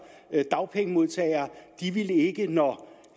og dagpengemodtagere når